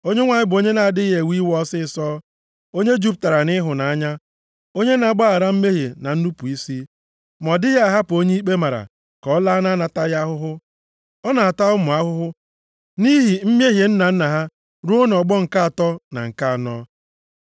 Onyenwe anyị bụ onye na-adịghị ewe iwe ọsịịsọ, onye jupụtara nʼịhụnanya, onye na-agbaghara mmehie na nnupu isi. Ma ọ dịghị ahapụ onye ikpe mara ka ọ laa na-anataghị ahụhụ, ọ na-ata ụmụ ahụhụ nʼihi mmehie nna nna ha ruo nʼọgbọ nke atọ na nke anọ.